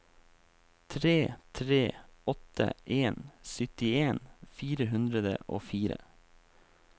tre tre åtte en syttien fire hundre og fire